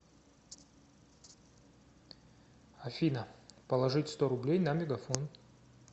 афина положить сто рублей на мегафон